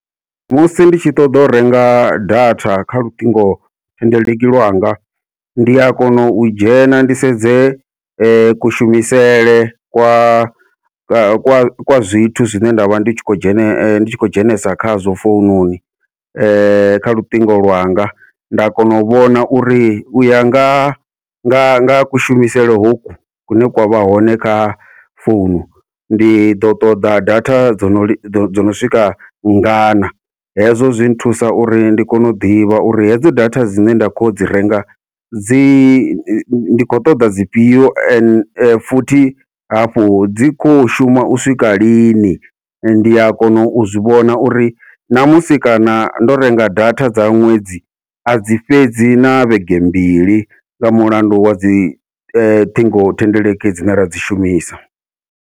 Musi nditshi ṱoḓa u renga data kha luṱingo thendeleki lwanga, ndi a kona u dzhena ndi sedze kushumisele kwa kwa kwa kwa zwithu zwine ndavha ndi khou dzhene ndi tshi khou dzhenesa khazwo foununi kha luṱingo lwanga nda kona u vhona uri uya nga nga nga kushumisele hoku kune kwa vha hone kha founu ndi ḓo ṱoḓa data dzono dzo dzono swika ngana. Hezwo zwi nthusa uri ndi kone u ḓivha uri hedzo data dzine nda kho dzi renga dzi ndi khou ṱoḓa dzi fhio ende futhi hafhu dzi kho shuma u swika lini, ndi a kona u zwi vhona uri ṋamusi kana ndo renga data dza ṅwedzi adzi fhedzi na vhege mbili nga mulandu wa dzi ṱhingo thendeleki dzine ra dzi shumisa.